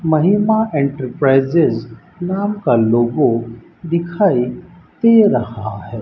महिमा एंटरप्राइजेज नाम का लोगो दिखाई दे रहा है।